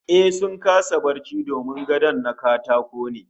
Ehh, sun kasa barci domin gadon na katako ne